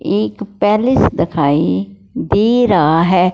एक पैलेस दिखाएं दे रहा है।